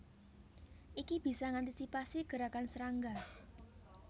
Iki bisa ngantisipasi gerakan serangga